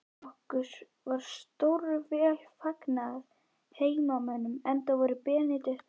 Okkur var stórvel fagnað af heimamönnum, enda voru Benedikt og